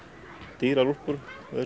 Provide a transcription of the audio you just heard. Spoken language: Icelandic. dýrar úlpur